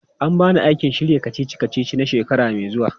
An ba ni aikin shirya kacici-kacici na shekara mai zuwa.